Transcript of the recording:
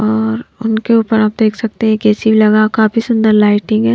और उनके ऊपर आप देख सकते हैं कैसी लगा काफी सुंदर लाइटिंग है।